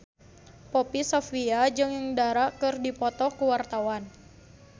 Poppy Sovia jeung Dara keur dipoto ku wartawan